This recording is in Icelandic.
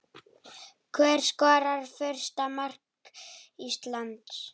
Hver skorar fyrsta mark Íslands?